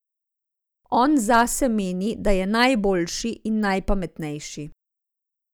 On zase meni, da je najboljši in najpametnejši.